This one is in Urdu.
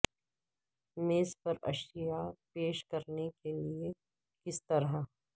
میز پر اشیاء پیش کرنے کے لئے کس طرح